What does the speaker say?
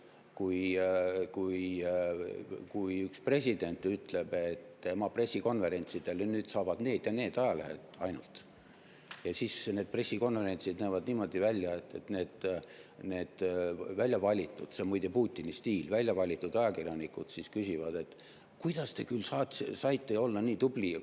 Kui üks president ütleb, et nüüd saavad tema pressikonverentsidele ainult need ja need ajalehed, siis näevad need pressikonverentsid välja niimoodi, et need väljavalitud – see on muide Putini stiil, väljavalitud ajakirjanikud – küsivad: "Kuidas te küll saite olla nii tubli?